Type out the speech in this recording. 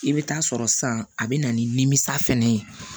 I bɛ taa sɔrɔ san a bɛ na nimisa fɛnɛ ye